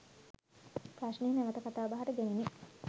ප්‍රශ්නය නැවතකතාබහට ගැනිණි